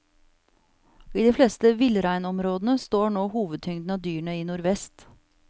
I de fleste villreinområdene står nå hovedtyngden av dyrene i nordvest.